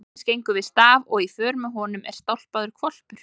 Jóhannes gengur við staf og í för með honum er stálpaður hvolpur.